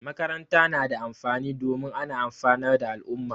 Makaranta na da amfani domin ana amfanar da al'umma